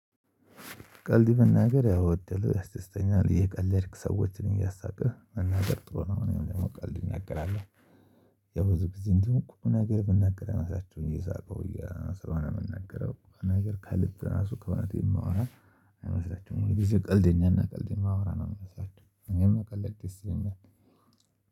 ቀልድ መናገር ያወደለ አስስተኛ ላይ አየቀለድክ ሰዎችን እያሳቀህ መናገር ጥሩ ነው። የምቀልድክ እናገራለው የብዙ ጊዜ እንዲሆን ቁም ነገር ብናገር የማሳያችው እየሳቀው እያሰራሁ ነው የምናገረው ነገር ከልብ ራሱ ከእውነት የማወራ አይመስላችሁም ወይ ጊዜ ቀልዴኛና ቀልድ የማወራ ነው የምመስላችው አኔም መቀለድ ደስ ይለኛል።